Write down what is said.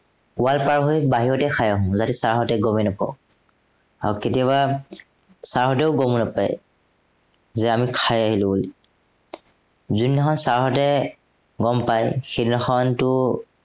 পোৱাৰ চাহ আমি বাহিৰতেই খাই আহো যাতে sir হঁতে গমেই নাপাওক। আৰু কেতিয়াবা, sir হঁতেও গম নাপায়। যে আমি খাই আহিলো বুলি। যোনদিনা খন sir হঁতে গম পাই সেইদিনাখনটো